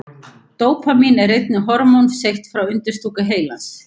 Dópamín er einnig hormón seytt frá undirstúku heilans.